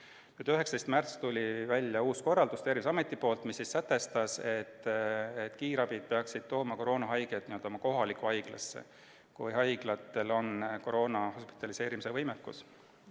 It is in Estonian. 19. märtsil tuli Terviseametilt uus korraldus, mis sätestas, et kiirabid peaksid tooma koroonahaiged n-ö oma kohalikku haiglasse, kui haiglatel on koroona hospitaliseerimise võimekus.